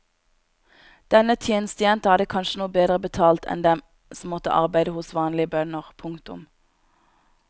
Denne tjenestejenta hadde kanskje noe bedre betalt enn dem som måtte arbeide hos vanlige bønder. punktum